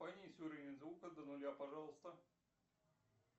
понизь уровень звука до нуля пожалуйста